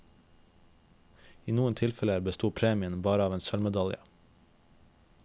I noen tilfeller besto premien bare av en sølvmedalje.